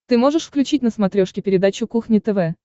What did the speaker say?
ты можешь включить на смотрешке передачу кухня тв